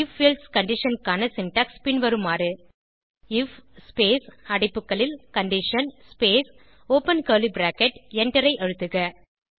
if else condition க்கான syntax பின்வருமாறு IF space அடைப்புகளில் condition space open curly bracket எண்டரை அழுத்துக